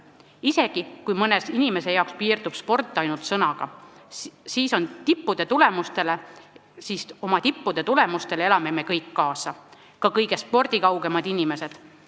Isegi kui mõne inimese jaoks piirdub sport ainult sõnadega, siis oma tippude tulemustele elame me kõik kaasa, ka kõige spordikaugemad inimesed.